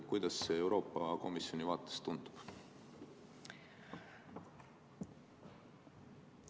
Kuidas see Euroopa Komisjoni vaates tundub?